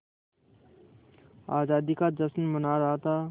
आज़ादी का जश्न मना रहा था